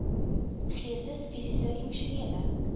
geestes fisiese emosionele